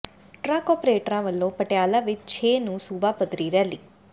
truck ਅਪਰੇਟਰਾਂ ਵੱਲੋਂ ਪਟਿਆਲਾ ਵਿੱਚ ਛੇ ਨੂੰ ਸੂੁਬਾ ਪੱਧਰੀ ਰੈਲੀ